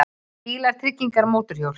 BÍLAR, TRYGGINGAR, MÓTORHJÓL